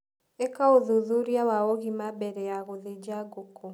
ĩka ũthuthuria wa ũgima mbere ya gũthĩnja ngũku.